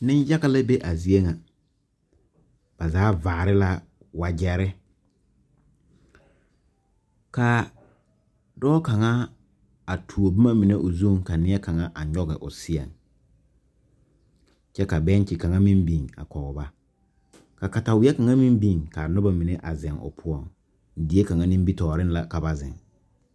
Niŋ yaga la be a zie ŋa ba zaa vaari la wagyɛri ka dɔɔ kaŋa a tuoboma mini o zuŋ ka kaŋa nyɔg o seɛŋ ka bɛŋkye kaŋa meŋ biŋ kɔge ba ka katawai kaŋa meŋ biŋ ka noba ziŋ kɔg ba, die kaŋa nimi tɔɔreŋ la ka ba ziŋ.